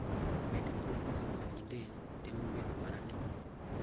Bende olokoga wang' gi del temo bedo ma ratong'